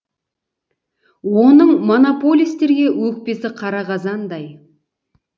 оның монополистерге өкпесі қара қазандай